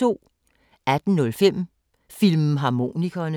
18:05: Filmharmonikerne